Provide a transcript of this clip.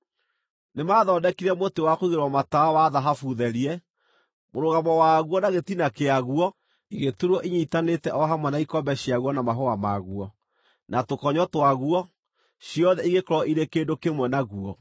Nĩmathondekire mũtĩ wa kũigĩrĩrwo matawa wa thahabu therie. Mũrũgamo waguo na gĩtina kĩaguo igĩturwo inyiitanĩte o hamwe na ikombe ciaguo na mahũa maguo, na tũkonyo twaguo; ciothe igĩkorwo irĩ kĩndũ kĩmwe naguo.